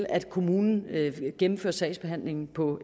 at kommunen gennemfører sagsbehandlingen på